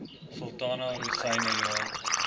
sultana rosyne jaar